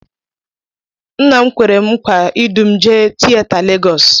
Nna m Kwèrè m nkwa idu m jee tieta Legọs.